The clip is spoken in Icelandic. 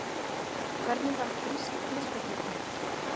Hvenær varð grísk heimspeki til?